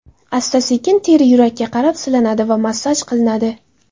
Asta-sekin teri yurakka qarab silanadi va massaj qilinadi.